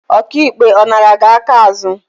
Ọka ikpe, ọ nara gị aka azụ?